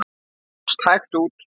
Mást hægt út.